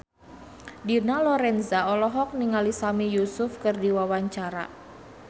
Dina Lorenza olohok ningali Sami Yusuf keur diwawancara